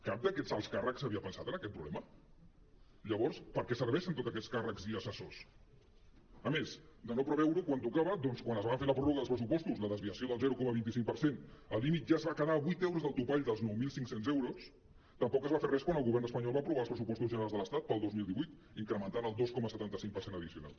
cap d’aquests alts càrrecs havia pensat en aquest proble·ma llavors per a què serveixen tots aquests càrrecs i assessors a més de no pre·veure·ho quan tocava doncs quan es va fer la pròrroga dels pressupostos la desvia·ció del zero coma vint cinc per cent el límit ja es va quedar a vuit euros del topall dels nou mil cinc cents euros tampoc no es va fer res quan el govern espanyol va aprovar els pressupostos gene·rals de l’estat per al dos mil divuit incrementant el dos coma setanta cinc per cent addicional